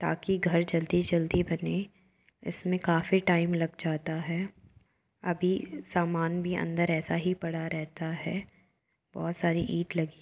ताकि घर जल्दी जल्दी बने | इसमें काफी टाइम लग जाता है अभी सामान भी अंदर ऐसा ही पड़ा रहता है बहुत सारी ईंट लगी--